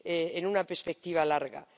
en una perspectiva larga.